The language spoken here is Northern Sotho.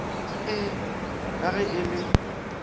ee ka ge e le